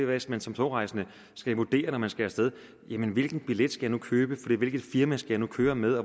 hvis man som togrejsende skal vurdere når man skal af sted hvilken billet skal jeg nu købe hvilket firma skal jeg nu køre med